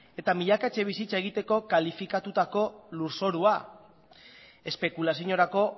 eta milaka etxe bizitza egiteko kalifikatutako lurzorua espekulaziorako